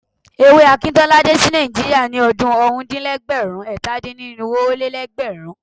Ewé Akintola dé sí Nàìjíríà ní ọdún ọ̀rúndínlẹ́gbẹ̀rún-ẹ̀tàdínnírinwó-ó-lé-lẹ́gbẹ̀rún.